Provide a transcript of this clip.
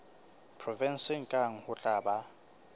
provenseng kang ho tla ba